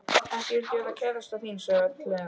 Ekki vildi ég vera kærastan þín sagði Örn hlæjandi.